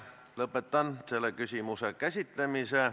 Lõpetan selle küsimuse käsitlemise.